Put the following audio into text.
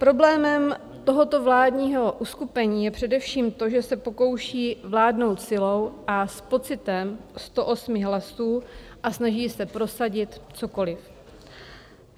Problémem tohoto vládního uskupení je především to, že se pokouší vládnout silou a s pocitem 108 hlasů a snaží se prosadit cokoliv.